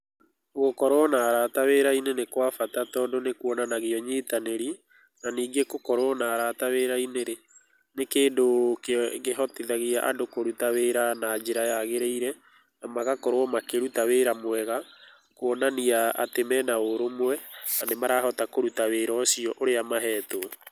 Gũkorũo na arata wĩra-inĩ nĩ kwa bata tondũ nĩ kũonanagia nyitanĩri na ningĩ gũkorwo na arata wĩra-inĩ rĩ, nĩ kĩndũ kĩhotithagia andũ kũruta wĩra na njĩra yagĩrĩire na magakorwo makĩruta wĩra mwega kũonania atĩ mena ũrũmwe na nĩ marahota kũruta wĩra ũcio ũrĩa mahetwo.